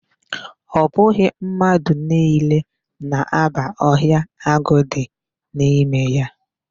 Ọ bụghị mmadụ niile na-aba ọhịa agụ dị n'ime ya.